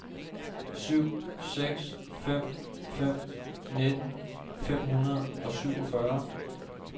syv seks fem fem nitten fem hundrede og syvogfyrre